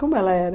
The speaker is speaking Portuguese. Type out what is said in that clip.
Como ela era?